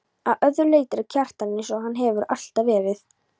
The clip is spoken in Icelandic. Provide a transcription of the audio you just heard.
Að öðru leyti er Kjartan einsog hann hefur alltaf verið.